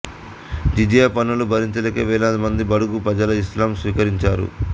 జిజియా పన్నులు భరించలేక వేలాదిమంది బడుగు ప్రజలు ఇస్లాం స్వీకరించారు